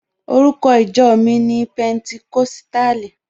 Orúkọ ìjọ mi ni Pẹnticọ́sítàlì.